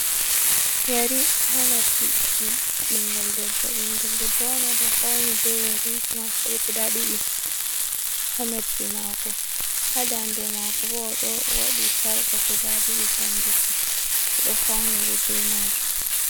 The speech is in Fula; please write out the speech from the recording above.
Yeri haa noppi ɓinngel debbo, ɓinngel debbo on, o ɗo fawni be yeriiji maako, ɗo guda ɗiɗi haa noppi maako. Haa daande maako bo, o ɗo waɗi sarka guda ɗiɗi, kanjum fu, o ɗo fawniri be maajum.